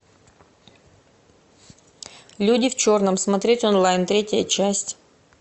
люди в черном смотреть онлайн третья часть